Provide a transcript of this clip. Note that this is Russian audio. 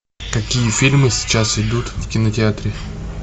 какие фильмы сейчас идут в кинотеатре